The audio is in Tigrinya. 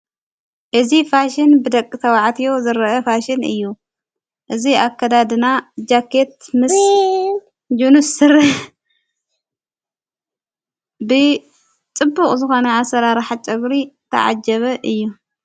እዝ ፋሽን ብደቂ ተዉዕትዮ ዝርአ ፋሽን እዩ እዙ ኣከዳድና ጃቄት ምስ ጅኑስር ብጥቡቕ ዙኾነ አሠራራሓ ጨጕሪ ተዓጀበ እዩ::